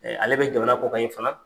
Ale bɛ jamana kƆ kan in fana.